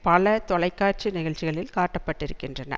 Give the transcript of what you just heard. பல தொலைக்காட்சி நிகழ்ச்சிகளில் காட்டப்பட்டிருக்கின்றன